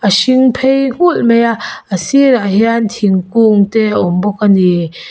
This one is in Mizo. hring phei nghulh maia a sirah hian thungkung te a awm bawk ani.